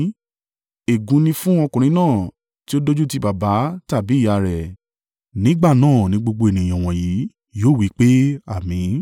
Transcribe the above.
“Ègún ni fún ọkùnrin náà tí ó dójútì baba tàbí ìyá rẹ̀.” Nígbà náà ni gbogbo ènìyàn wọ̀nyí yóò wí pé, “Àmín!”